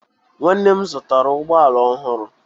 Nwanne m zụtara ụgbọ ala ohuru